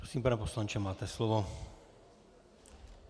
Prosím, pane poslanče, máte slovo.